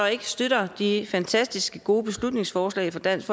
ikke støtter de fantastisk gode beslutningsforslag fra dansk